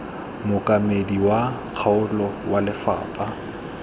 mookamedi wa kgaolo wa lefapha